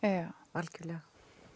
algjörlega